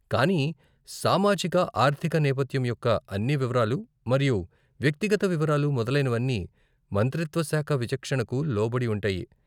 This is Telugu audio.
కానీ, సామాజిక ఆర్థిక నేపథ్యం యొక్క అన్ని వివరాలు మరియు వ్యక్తిగత వివరాలు మొదలైనవన్నీ మంత్రిత్వ శాఖ విచక్షణకు లోబడి ఉంటాయి.